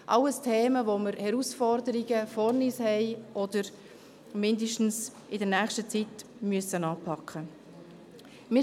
Dies alles sind Themen, wo wir Herausforderungen vor uns haben oder diese in nächster Zeit zumindest werden anpacken müssen.